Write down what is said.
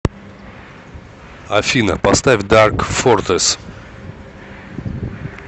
афина поставь дарк фортресс